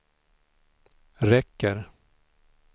räcker